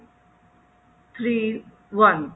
three one